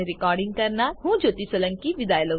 જોડાવા બદ્દલ આભાર